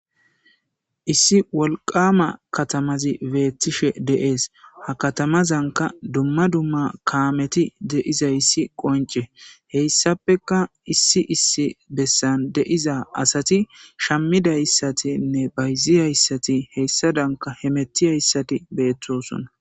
Issi wolqama katamazi beettishe deees ha katamazanka dumma dumma kaameti de'izayssi qonce heyssappeka issi issi bessan deiza asati shammidayssatinne bayzi hayssati heyssa danka he metti hayssati beettosonna.